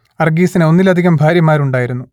അർഗീസിന് ഒന്നിലധികം ഭാര്യമാരുണ്ടായിരുന്നു